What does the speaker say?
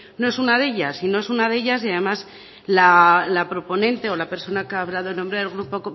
no es una de ellas no es una de ellas y además la proponente o la persona que ha hablado en nombre del grupo